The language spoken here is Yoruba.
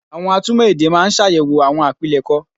Àwọn atúmọ̀ èdè máa ń ṣàyẹ̀wò àwọn àpilẹ̀kọ